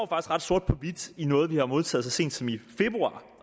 ret sort på hvidt i noget vi har modtaget så sent som i februar